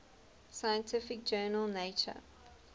scientific journal nature